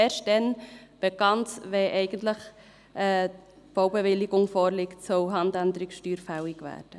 Eigentlich soll erst dann, wenn die Baubewilligung vorliegt, die Handänderungssteuer fällig werden.